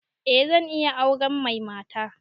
Eh zan iya auren mai mata